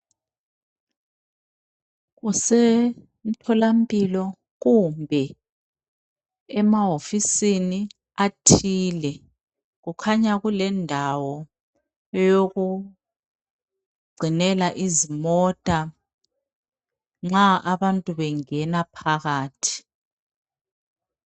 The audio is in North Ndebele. Kusemtholampilo kumbe emahofisini athile. Kukhanya kulendawo yokugcinela izimota nxa abantu bengena phakathi.